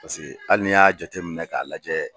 hali n'i y'a jateminɛ k'a lajɛ